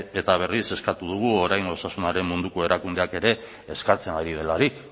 eta berriz eskatu dugu oraingo osasunaren munduko erakundeak ere eskatzen ari delarik